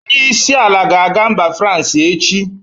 Onyeisi ala ga-aga mba Fransi echi.